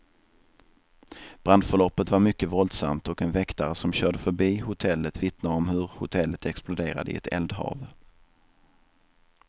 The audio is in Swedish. Brandförloppet var mycket våldsamt, och en väktare som körde förbi hotellet vittnar om hur hotellet exploderade i ett eldhav.